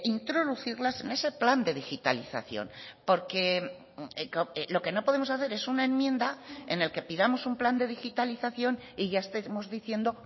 introducirlas en ese plan de digitalización porque lo que no podemos hacer es una enmienda en el que pidamos un plan de digitalización y ya estemos diciendo